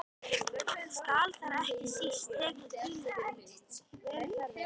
Skal þar ekki síst tekið tillit til velferðar barna.